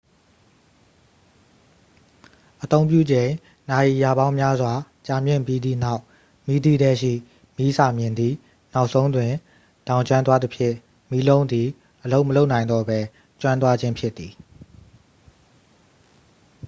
အသုံးပြုချိန် နာရီရာပေါင်းများစွာ ကြာမြင့်ပြီးသည့်နောက် မီးသီးထဲရှိ မီးစာမျှင်သည် နောက်ဆုံးတွင် လောင်ကျွမ်းသွားသဖြင့် မီးလုံးသည် အလုပ်မလုပ်နိုင်တော့ပဲ ကျွမ်းသွားခြင်းဖြစ်သည်